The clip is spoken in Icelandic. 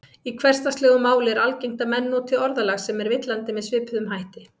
Í hversdagslegu máli er algengt að menn noti orðalag sem er villandi með svipuðum hætti.